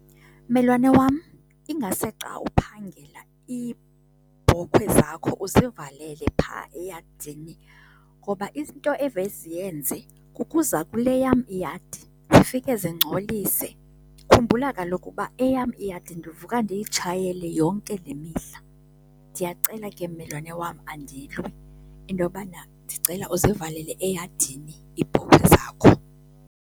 Mmelwane wam, ingase xa uphangela iibhokhwe zakho uzivalele phaa eyadini. Ngoba izinto evele ziyenze kukuza kule yam iyadi zifike zingcolise. Khumbula kaloku uba eyam iyadi ndivuka ndiyitshayele yonke le mihla. Ndiyacela ke, mmelwane wam, andilwi, intobana ndicela uzivalele eyadini iibhokhwe zakho.